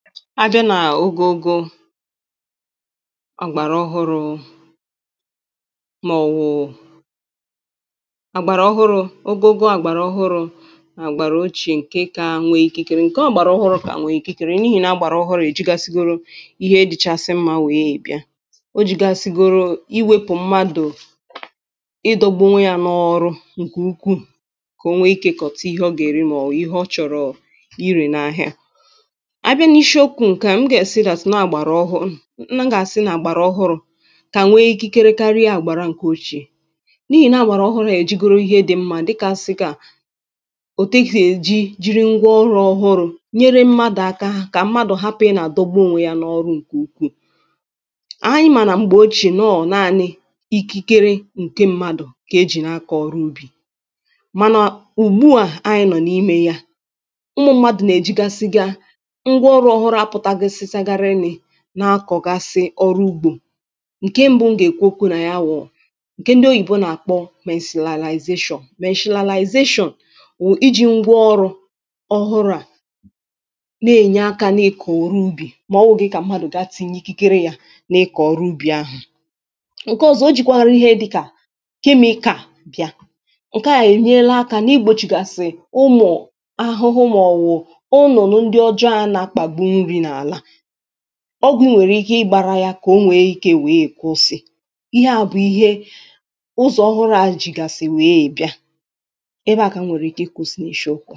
ábjá nà ógógó àgbàrà ọhụrụ̄ màọ̀wụ̀ àgbàrà ọhụrụ̄ ogogo àgbàrà ọhụrụ̄ nà àgbàrà ocheè ǹke kā nwē ikikere ǹke ọ̀gbàrà ọhụrụ̄ kà nwe ikikere n’ihì nà ọ̀gbàrà ọhụrụ̄ èjigasigoro ihe dị̄chāsị̄ mmā nweè bịa o jīgāsīgōrō iwēpù mmadụ̀ ịdọ̄gbū ònweyā n’ọrụ ǹkè ukwuù kà o nwe ikē ịkọ̀ta ihe ọ gà-èri mà ọ̀ wụ̀ ihe ọ chọ̀rọ̀ irē n’āhịā abịa n’ishi okwū ǹke à m gà-àsị that nọọ̀ àgbàrà ọhụrụ̄ m gà-àsị nà àgbàrà ọhụrụ̄ kà nwe ikikere karịa àgbàra ǹkè ocheè n’ìhì na àgbàrà ọhụrụ̄ èjigoro ihe dị̄ mmā dịkāsị̄gā òtù esì èjì jiri ngwa ọrụ̄ ọhụrụ̄ nyere mmadụ̀ aka kà mmadụ̀ hapụ̀ ịnā àdọgbu ònweyā n’ọrụ ǹkè ukwuù ànyị maà nà m̀gbè ochè nọọ̀ naānị̄ ikikere ǹke mmadụ̀ kà ejì na-akọ̀ ọrụ ubì mànà ùgbu à ànyị nọọ̀ n’imē yā ụmụ̄ mmadụ̀ nà-èjigasịga ngwa ọrụ̄ ọhụrụ̄ à pụtagosịsagarị nị̄ na-akọ̀gasị ọrụ ugbō ǹke m̄bụ̄ m gà-èkwu okwū nà ya wụ̀ ǹkè ndị oyìbo nà-àkpọ mesilalaization, meshilalaization wụ̀ ijī ngwa ọrụ ọhụrụ̄ à na-enye akā na-ịkọ̀ ọrụ ubì mà ọ wụ̄ghị̄ kà mmadụ̀ ga tinye ikikere yā na-ịkọ̀ ọrụ ubì ahụ̀ ǹke ọ̄zọ̄ ojīkwārụ̄ ihe dị̄kà chemical bịa ǹke à ènyela akā na-igbōchìgàsị̀ ụmụ̀ ahụhụ màọ̀wụ̀ ụnụ̀nụ̀ ndị ọjọ ā na-akpàgbu nrī n’àlà ọgwụ̀ ị nwèrè ike ịgbārā yā kà o nwère ikē nweè kụsị ihe à bụ̀ ihe ụzọ̀ ọhụrụ̄ a jìgàsị̀ nweè bịa ebe à kà m nwèrè ike ịkụ̄sị̄ n’ishī okwu à